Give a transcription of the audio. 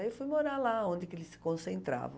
Aí eu fui morar lá, onde eles se concentravam.